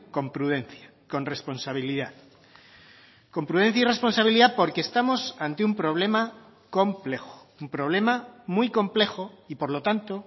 con prudencia con responsabilidad con prudencia y responsabilidad porque estamos ante un problema complejo un problema muy complejo y por lo tanto